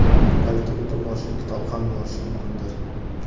balki butun boshli kitob ham yozish mumkindir.